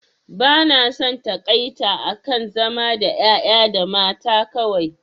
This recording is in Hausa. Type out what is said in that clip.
Ba na son taƙaita akan zama da ƴaƴa da mata kawai